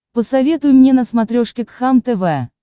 посоветуй мне на смотрешке кхлм тв